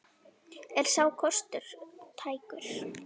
Er sá kostur tækur?